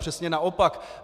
Přesně naopak!